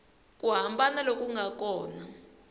ku hambana loku nga kona